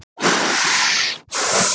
Síðasta markið skoraði David Silva.